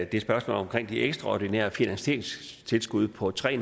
det spørgsmål om de ekstraordinære finansieringstilskud på tre